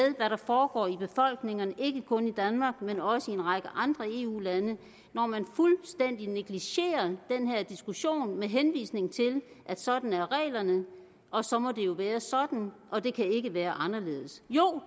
hvad der foregår i befolkningerne ikke kun i danmark men også i en række andre eu lande når man fuldstændig negligerer den her diskussion med henvisning til at sådan er reglerne og så må det jo være sådan og det kan ikke være anderledes jo